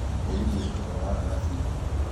mũgithi ũhetũkaga haha thaa ciigana?